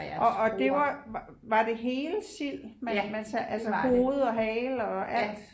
Og og det var var det hele sild man man så altså hoved og hale og alt